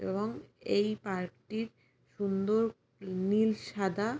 এবং এই পার্ক টির সুন্দর নীল সাদা।